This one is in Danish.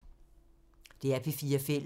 DR P4 Fælles